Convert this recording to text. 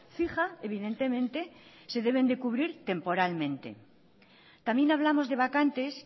fija evidentemente se deben de cubrir temporalmente también hablamos de vacantes